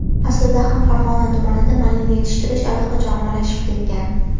Aslida ham Farg‘ona tumanida malina yetishtirish allaqachon ommalashib ketgan.